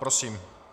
Prosím.